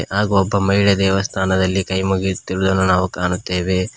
ಹಾಗು ಒಬ್ಬ ಮಹಿಳೆ ದೇವಸ್ಥಾನದಲ್ಲಿ ಕೈ ಮುಗಿಯುತ್ತಿರುವುದನ್ನು ನಾವು ಕಾಣುತ್ತೇವೆ.